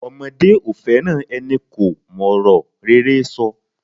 Omodé ò fẹ́ràn enikò mòrò rere so